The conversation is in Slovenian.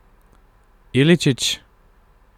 Iličić?